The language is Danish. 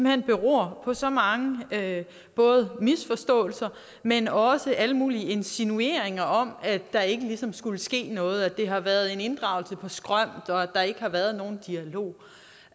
hen beror på så mange både misforståelser men også alle mulige insinuationer om at der ikke ligesom skulle ske noget at det har været en inddragelse på skrømt og at der ikke har været nogen dialog